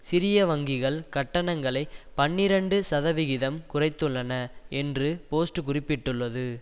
சிறிய வங்கிகள் கட்டணங்களை பனிரண்டு சதவிகிதம் குறைத்துள்ளன என்று போஸ்ட் குறிப்பிட்டுள்ளது